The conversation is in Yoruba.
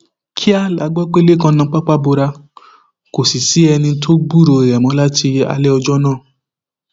kíá la gbọ pé lẹkan nà pápá bora kò sì sí ẹni tó gbúròó rẹ láti alẹ ọjọ náà